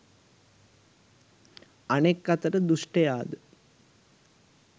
අනෙක් අතට දුෂ්ටයාද